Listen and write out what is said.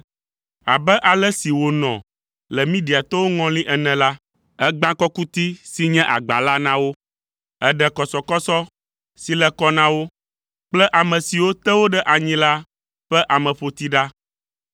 Ale si wònɔ le Midiatɔwo ŋɔli ene la, ègbã kɔkuti si nye agba la na wo, èɖe kɔsɔkɔsɔ si le kɔ na wo kple ame siwo te wo ɖe anyi la ƒe ameƒoti ɖa.